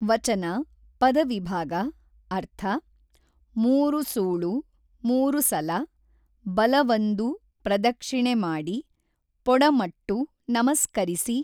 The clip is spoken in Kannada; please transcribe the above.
ವಚನ ಪದವಿಭಾಗ ಅರ್ಥ ಮೂಱು ಸೂೞು ಮೂರು ಸಲ ಬಲವಂದು ಪ್ರದಕ್ಷಿಣೆ ಮಾಡಿ ಪೊಡಮಟ್ಟು ನಮಸ್ಕರಿಸಿ